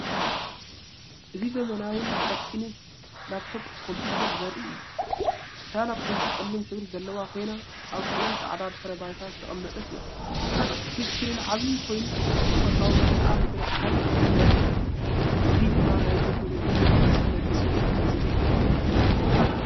እዚ ዘመናውን ቀጢንን ላፕቶፕ ኮምፒተር ዘርኢ እዩ። እታ ላፕቶፕ ጸሊም ሕብሪ ዘለዋ ኮይና፡ ኣብ ጽሩይ ጻዕዳ ድሕረ ባይታ ዝተቐመጠት እያ። እቲ ስክሪን ዓቢ ኮይኑ፡ጽቡቕ ተፈጥሮኣዊ መልክዓ ምድሪ ጸሓይ ዘርኢ እዩ። እዚ ድማ ናይ ቴክኖሎጂን ናጽነትን ስምዒት ዝሀብ እዩ።